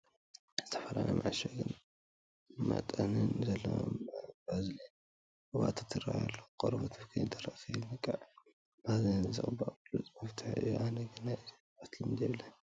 ዝተፈላለየ መዓሸጊን መጠንን ዘለዎም ባዝሊን ቅብኣታት ይርአዩ ኣለዉ፡፡ ቆርበት ከይደርቕን ከይነቕዕን ባዝሊን ምቕባእ ብሉፅ መፍትሒ እዩ፡፡ ኣነ ግን ናይዚ ቅብኣት ልምዲ የብለይን፡፡